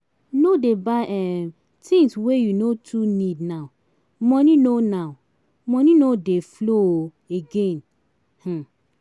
No dey buy um tins wey you no too need now, moni no now, moni no dey flow um again. um